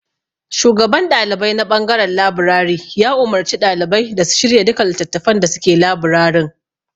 Shugaban ɗalibai na ɓangaren labirari ya umarci ɗalibai da su shirya duka littattafan da suke labirarin.